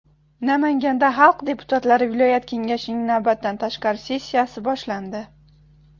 Namanganda xalq deputatlari viloyat kengashining navbatdan tashqari sessiyasi boshlandi.